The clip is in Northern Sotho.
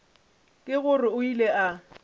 ke gore o ile a